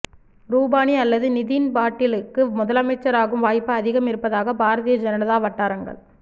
ரூபானி அல்லது நிதின் பாட்டீலுக்கு முதலமைச்சராகும் வாய்ப்பு அதிகம் இருப்பதாக பாரதிய ஜனதா வட்டாரங்கள்